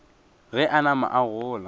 ge a nama a gola